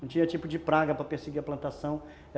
Não tinha tipo de praga para perseguir a plantação.